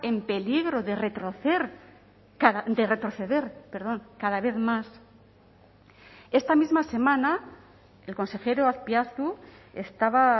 en peligro de retrocer de retroceder perdón cada vez más esta misma semana el consejero azpiazu estaba